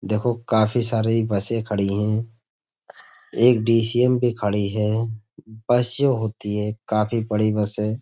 देखो काफी सारी बसें खड़ी हैं। एक डी.सी.एम. भी खड़ी है। बस जो होती है काफी बड़ी बस है।